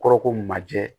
Kɔrɔ ko majɛ